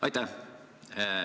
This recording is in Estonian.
Aitäh!